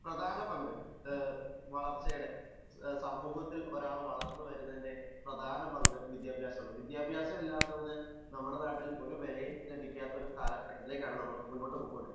പ്രധാന പങ്കു വളർച്ചയുടെ സമൂഹത്തിൽ ഒരാൾ വളർന്നു വരുന്നതിന്റെ പ്രധാന പങ്ക് വിദ്യാഭ്യാസമാണ് . വിദ്യാഭ്യാസം ഇല്ലാത്തവന് നമ്മുടെ നാട്ടിൽ ഒരു വിലയും ലഭിക്കാത്ത കാലഘട്ടത്തിലാണ് നമ്മൾ പോവുന്നത്